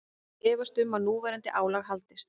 Efast um að núverandi álag haldist